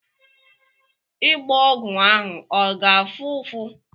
Ịgba ogwu ahụ ọ ga-afụ ụfụ?